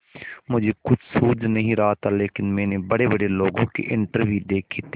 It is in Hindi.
मुझे कुछ सूझ नहीं रहा था लेकिन मैंने बड़ेबड़े लोगों के इंटरव्यू देखे थे